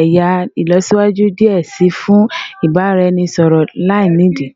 ẹya ilọsiwaju diẹ sii fun ibaraẹnisọrọ lainidi